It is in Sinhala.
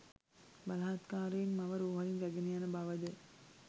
බලහත්කාරයෙන් මව රෝහලින් රැගෙන යන බවද